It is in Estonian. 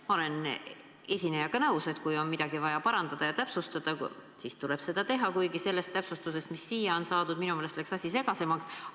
Ma olen esinejaga nõus, et kui on midagi vaja parandada ja täpsustada, siis tuleb seda teha, kuigi sellest täpsustusest, mis siia on saadud, läks asi minu meelest segasemaks.